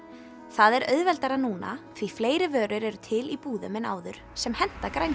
það er auðvelt núna því fleiri vörur eru til í búðum en áður sem henta